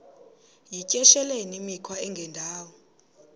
yityesheleni imikhwa engendawo